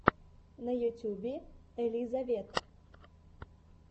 на ютьюбе элизавет